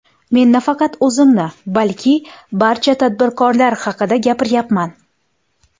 Men nafaqat o‘zimni, balki barcha tadbirkorlar haqida gapiryapman.